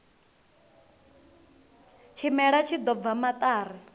tshimela tshi ḓo bva maṱari